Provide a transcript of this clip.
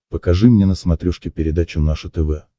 покажи мне на смотрешке передачу наше тв